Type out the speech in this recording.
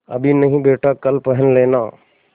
अभी नहीं बेटा कल पहन लेना